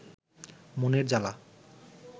মনের জালা